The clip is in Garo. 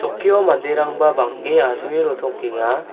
okkio manderangba bang·e asonge rotokenga.